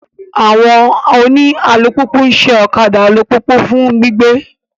Àwọn oni àlupupu nṣẹ okạdạ àlupupu fun gbigbe.